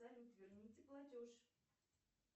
салют верните платеж